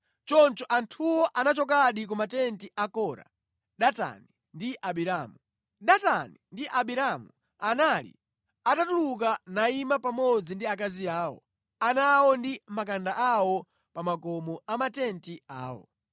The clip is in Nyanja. Choncho anthuwo anachokadi ku matenti a Kora, Datani ndi Abiramu. Datani ndi Abiramu anali atatuluka nayima pamodzi ndi akazi awo, ana awo ndi makanda awo pa makomo a matenti awo.